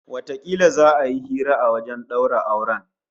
Watakila za'a yi hira a wajen daura auren